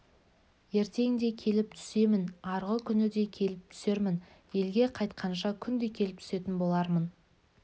ертең де келіп түсемін арғы күні де келіп түсермін елге қайтқанша күнде келіп түсетін болармын